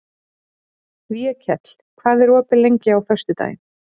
Vékell, hvað er opið lengi á föstudaginn?